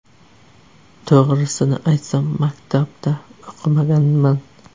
To‘g‘risini aytsam, maktabda o‘qimaganman.